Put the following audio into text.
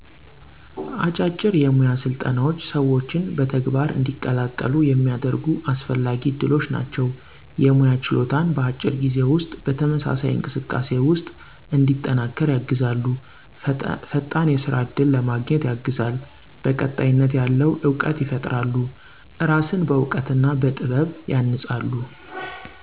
አጫጭር የሞያ ስልጠናዎች ሰዎችን በተግባር እንዲቀላቀሉ የሚያደርጉ አስፈላጊ ዕድሎች ናቸው። የሞያ ችሎታን በአጭር ጊዜ ውስጥ በተመሳሳይ እንቅስቃሴ ውስጥ እንዲጠናከር ያግዛሉ። ፈጣን የስራ እድል ለማገኘት ያግዛሉ። ቀጣይነት ያለው እውቀት ይፈጥራሉ። እራስን በዕውቀት ና በጥበብ ያንጻሉ።